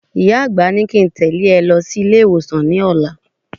Ìyá àgbà ní kí n tẹ̀lé ẹ lọ sí ilé-ìwọ̀sàn lọ́la.